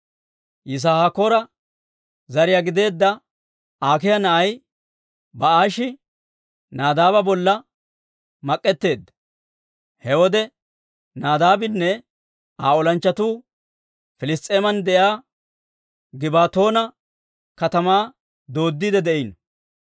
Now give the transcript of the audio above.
Yisaakoora zariyaa gideedda Akiiya na'ay Baa'ishi Nadaaba bolla mak'etteedda. He wode Nadaabinne Aa olanchchatuu Piliss's'eeman de'iyaa Gibbatoona katamaa dooddiide de'iino.